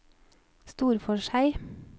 Storforshei